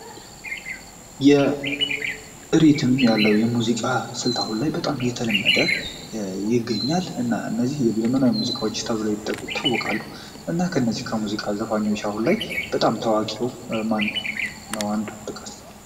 ሪትም ያለው የሙዚቃ ስልት አሁን ላይ እየተለመደ ይገኛል እነዚህ ሙዚቃዎች ዘመናዊ ሙዚቃዎች ተብሎውም ይጠቀሳሉ። እና እነዚህ ዘመናዊ የሙዚቃ መሳሪያዎች ታዋቂ ዘፋኞች ማነው አንዱ ጥቀስ?